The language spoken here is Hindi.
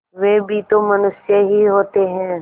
वे भी तो मनुष्य ही होते हैं